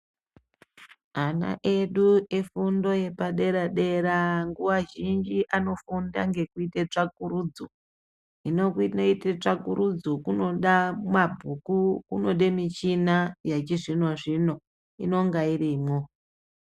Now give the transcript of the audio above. Ana edu nefundo yepadera dera nguwa zhinji anofunda ngekuita tsvakurudzo .Hino kuita tsvakurudzo kunode mabhuku kunode michina yechizvino zvino inonga irimwo